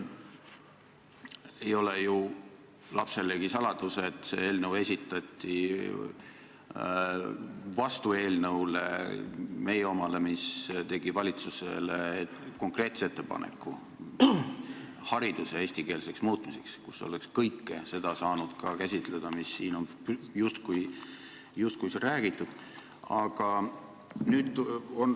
Ei ole ju lapselegi saladus, et see eelnõu esitati vastu meie eelnõule, mis tegi valitsusele konkreetse ettepaneku hariduse eestikeelseks muutmiseks ja milles oleks saanud käsitleda ka kõike seda, millest siin on justkui räägitud.